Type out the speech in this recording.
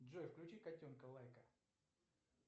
джой включи котенка лайка